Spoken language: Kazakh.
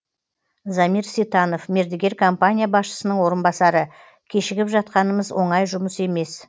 замир ситанов мердігер компания басшысының орынбасары кешігіп жатқанымыз оңай жұмыс емес